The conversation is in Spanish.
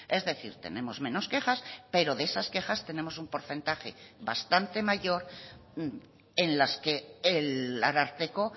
es decir tenemos menos quejas pero de esas quejas tenemos un porcentaje bastante mayor en las que el ararteko